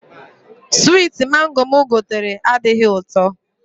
Switi Mango mụ gotere adịghị ụtọ